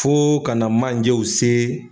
Fo kana manjew se